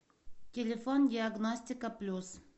телефон диагностика плюс